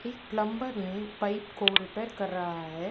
एक प्लम्बर ने पाइप को रिपेयर कर रहा हैं।